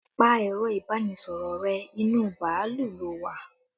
Pa ẹ̀rọ ibanisoro rẹ, inú bàálù lo wà!